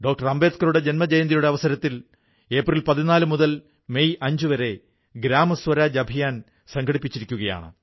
അംബേദ്കറുടെ ജന്മജയന്തിയുടെ അവസരത്തിൽ ഏപ്രിൽ 14 മുതൽ മെയ് 5 വരെ ഗ്രാമസ്വരാജ് അഭിയാൻ സംഘടിപ്പിച്ചിരിക്കുകയാണ്